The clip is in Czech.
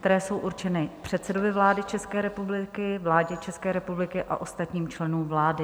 které jsou určeny předsedovi vlády České republiky, vládě České republiky a ostatním členům vlády.